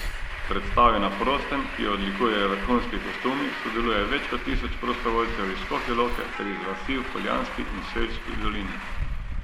V predstavi na prostem, ki jo odlikujejo vrhunski kostumi, sodeluje več kot tisoč prostovoljcev iz Škofje Loke ter iz vasi v Poljanski in Selški dolini.